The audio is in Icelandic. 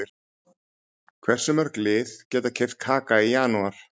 Hversu mörg lið geta keypt Kaka í janúar?